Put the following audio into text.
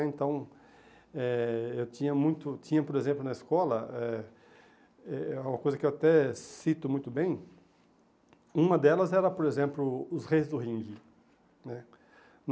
É então eh eu tinha muito, tinha por exemplo, na escola, eh eh uma coisa que eu até cito muito bem, uma delas era, por exemplo, Os Reis do Ringue, né.